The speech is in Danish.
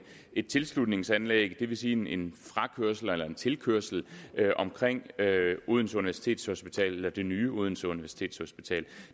et tilslutningsanlæg det vil sige en frakørsel eller en tilkørsel omkring odense universitetshospital eller det nye odense universitetshospital